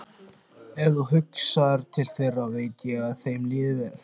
Ef þú hugsar til þeirra veit ég að þeim líður vel.